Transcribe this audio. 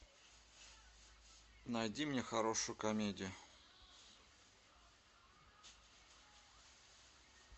найди мне хорошую комедию